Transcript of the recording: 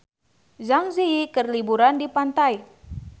Zang Zi Yi keur liburan di pantai